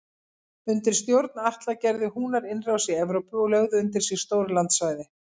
Undir stjórn Atla gerðu Húnar innrás í Evrópu og lögðu undir sig stór landsvæði.